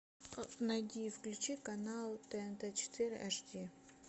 найди и включи канал тнт четыре аш ди